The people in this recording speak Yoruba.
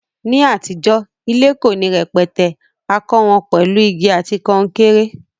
Ní àtijó, ilé ko ni rẹpẹtẹ, a kó won pèlu igi àti kankéré